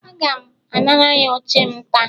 Aga m anara ya oche m ta